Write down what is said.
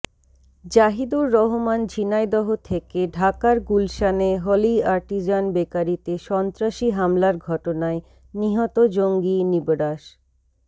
জাহিদুর রহমান ঝিনাইদহ থেকেঃ ঢাকার গুলশানে হলি আর্টিজান বেকারিতে সন্ত্রাসী হামলার ঘটনায় নিহত জঙ্গি নিবরাস